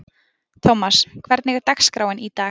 Thomas, hvernig er dagskráin í dag?